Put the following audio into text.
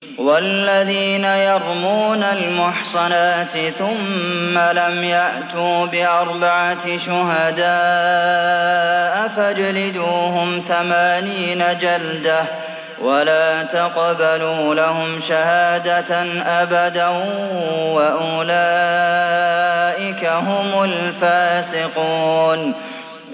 وَالَّذِينَ يَرْمُونَ الْمُحْصَنَاتِ ثُمَّ لَمْ يَأْتُوا بِأَرْبَعَةِ شُهَدَاءَ فَاجْلِدُوهُمْ ثَمَانِينَ جَلْدَةً وَلَا تَقْبَلُوا لَهُمْ شَهَادَةً أَبَدًا ۚ وَأُولَٰئِكَ هُمُ الْفَاسِقُونَ